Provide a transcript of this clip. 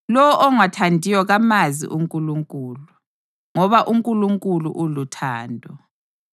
Lowo ongathandiyo kamazi uNkulunkulu, ngoba uNkulunkulu uluthando.